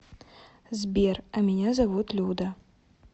сбер а меня зовут люда